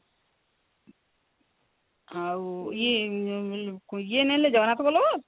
ଆଉ ଇଏ ଇଏ ନେଲେ ଜଗନ୍ନାଥ ବଲ୍ଲଭ